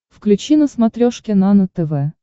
включи на смотрешке нано тв